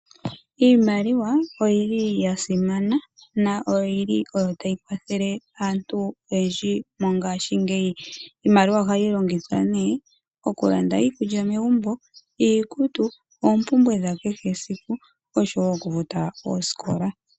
Iimaliwa oya simana noyi li oyo tayi kwathele aantu oyendji mongashingeyi. Iimaliwa ohayi longithwa nee okulanda iikulya megumbo, iikutu, oompumbwe dha kehe siku, osho wo okufuta oosikola.